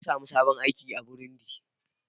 Na sami sabon aiki a Burundi.